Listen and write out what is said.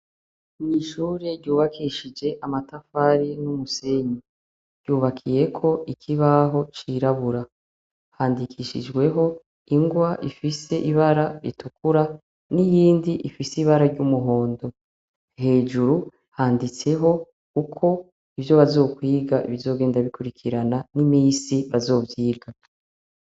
Mw'ishure ryubakishije amatafari n'umusenyi. Ryubakiyeko ikibaho cirabura. Handikishijweho ingwa ifise ibara ritukura n'iyindi ifise ibara ry'umuhondo. Hejuru handitseho uko ivyo bazokwiga bizogenda bikwirikirana n'imisi bazovyiga.